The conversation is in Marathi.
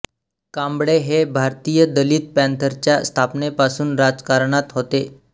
कांबळे हे भारतीय दलित पॅंथरच्या स्थापनेपासून राजकारणात होते